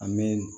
A mɛn